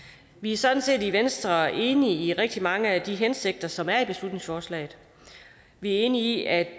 vi er sådan set i venstre enige i rigtig mange af de hensigter som er i beslutningsforslaget vi er enige i at